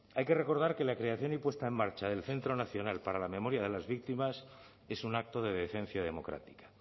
hay que recordar que la creación y puesta en marcha del centro nacional para la memoria de las víctimas es un acto de decencia democrática